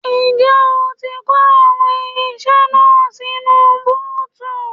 Ǹjẹ́ ó ti kó àwọn irinṣẹ́ náà sínú búùtù?